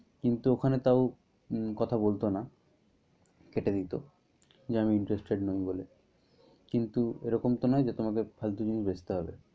কিন্তু ওখানে তাও কথা বলতো না। কেটে দিত, যে আমি interested নই বলে। কিন্ত এরকম তো নয় যে তোমাকে ফালতু জিনিস বেচতে হবে।